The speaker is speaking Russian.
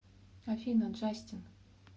афина джастин